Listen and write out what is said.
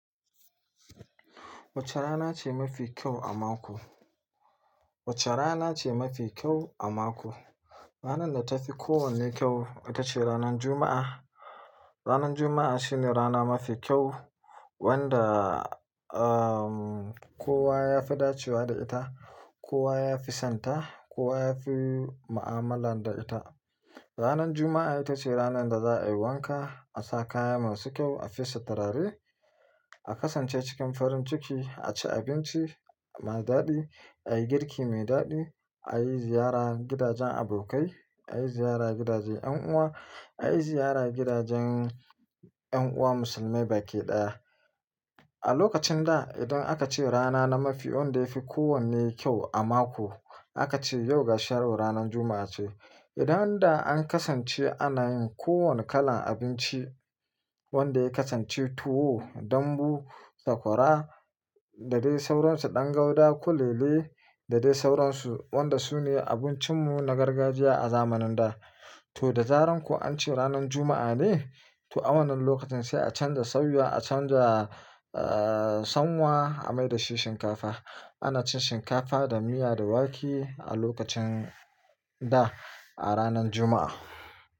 Wace rana ce mafi kyau a mako? Wace rana ce mafi kyau a mako? Ranar da ta fi kowanne kyau ita ce ranar Juma'a. Ranar Juma'a shine rana mafi kyau wanda, ahh, kowa ya fi dacewa da ita, kowa ya fi son ta, kowa ya fi ma'amala da ita. Ranar Juma'a ita ce ranar da za a yi wanka, a sa kaya masu kyau, a fesa turare, a kasance cikin farin ciki, a ci abinci mai daɗi, a yi girki mai daɗi, a yi ziyara gidajen abokai, a yi ziyara gidaje en uwa, a yi ziyara gidajen en uwa musulmai baki ɗaya. A lokacin da idan aka ce rana na mafi wanda yafi kowanne kyau a mako, aka ce yau ga sharo ranar Juma'a ce. Idan da an kasance ana yin kowane kalan abinci wanda ya kasance tuwo, dambu, sakwara da dai sauransu, ɗan guda, kulele da dai sauransu wanda su ne abincin mu na gargajiya a zamanin da. To da zaran ku an ce ranar Juma'a ne, to wannan lokacin sai a canza sauya, a canza, ahh, sanwa a mai da shi shinkafa. Ana cin shinkafa da miya da wake a lokacin da a ranar Juma'a.